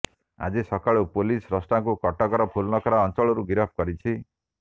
ଆଜି ସକାଳୁ ପୁଲିସ୍ ସ୍ରଷ୍ଟାକୁ କଟକର ଫୁଲନଖରା ଅଞ୍ଚଳରୁ ଗିରଫ କରିଛି